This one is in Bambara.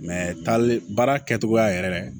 taale baara kɛcogoya yɛrɛ